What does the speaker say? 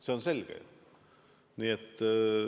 See on selge.